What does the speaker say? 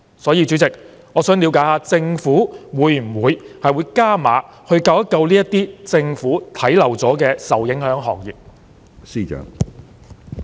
因此，主席，我想了解政府會否加碼，拯救這些被政府忽略的受影響行業？